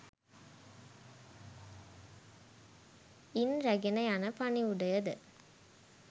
ඉන් රැගෙන යන පණිවුඩයද